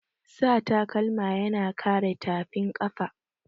Sa takalma yana kare tafin kafa.